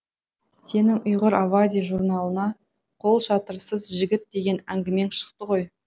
сенің ұйғыр авази журналына қолшатырсыз жігіт деген әңгімең шықты ғой